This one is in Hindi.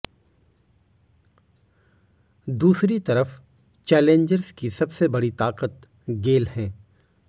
दूसरी तरफ चैलेंजर्स की सबसे बड़ी ताकत गेल हैं